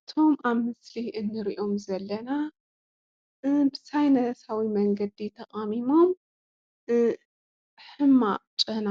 እቶም ኣብ ምስሊ እንርኦም ዘለና ብሳይነሳዊ መንገዲ ተቃሚሞም ሕማቅ ጨና